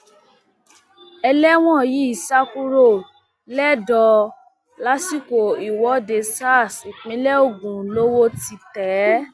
ẹlẹwọn yìí sá kúrò lẹdọ lásìkò ìwọde sars ìpínlẹ ogun lowó ti tẹ é